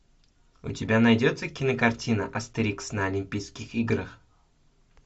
у тебя найдется кинокартина астерикс на олимпийских играх